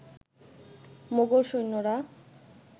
মোগল সৈন্যরা